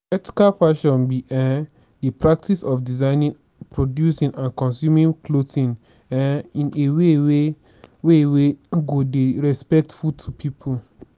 ethical fashion be um di practice of designing producing and consuming clothing um in a way wey way wey go dey respectful to people.